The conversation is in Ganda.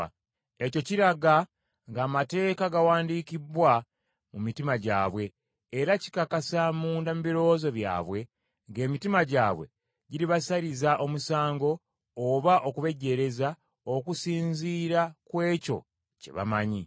Ekyo kiraga ng’Amateeka gawandiikibbwa mu mitima gyabwe, era kikakasa munda mu birowoozo byabwe, ng’emitima gyabwe giribasaliriza omusango oba okubejjeereza okusinziira ku ekyo kye bamanyi.